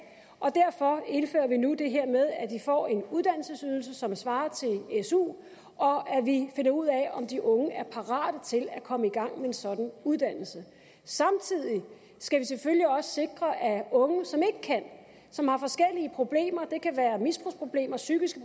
og derfor indfører vi nu det her med at de får en uddannelsesydelse som svarer til su og at vi finder ud af om de unge er parate til at komme i gang med en sådan uddannelse samtidig skal vi selvfølgelig også sikre at unge som ikke kan som har forskellige problemer det kan være misbrugsproblemer psykiske